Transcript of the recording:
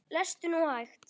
Lestu nú hægt!